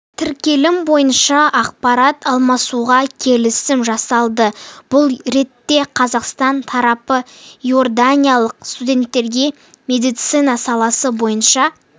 тіркелімі бойынша ақпарат алмасуға келісім жасалды бұл ретте қазақстан тарапы иорданиялық студенттерге медицина саласы бойынша